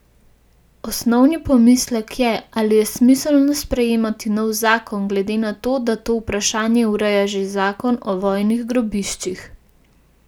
Osnovni pomislek je, ali je smiselno sprejemati nov zakon, glede na to, da to vprašanje ureja že zakon o vojnih grobiščih.